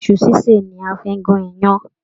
Iṣu ṣiṣe ní a fí n gún iyán.